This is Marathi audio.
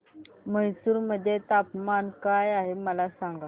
म्हैसूर मध्ये तापमान काय आहे मला सांगा